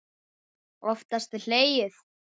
Oftast var hlegið.